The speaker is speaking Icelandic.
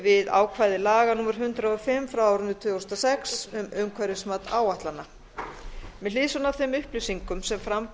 við ákvæði laga númer hundrað og fimm tvö þúsund og sex um umhverfismat áætlana með hliðsjón af þeim upplýsingum sem fram